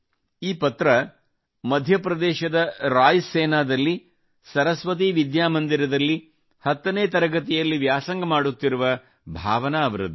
ಈ ಪತ್ರ ಮಧ್ಯಪ್ರದೇಶದ ರಾಯ್ ಸೇನಾದಲ್ಲಿ ಸರಸ್ವತಿ ವಿದ್ಯಾ ಮಂದಿರದಲ್ಲಿ 10 ನೇ ತರಗತಿಯಲ್ಲಿ ವ್ಯಾಸಂಗ ಮಾಡುತ್ತಿರುವ ಭಾವನಾ ಅವರದ್ದು